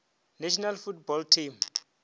national football team